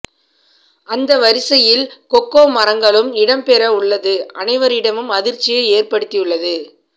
அந்த வரிசையில் கொக்கோ மரங்களும் இடம்பெற உள்ளது அனைவரிடமும் அதிர்ச்சியை ஏற்படுத்தியுள்ளது